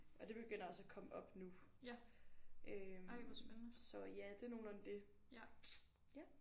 Og det begynder også at komme op nu øh så ja det er nogenlunde det ja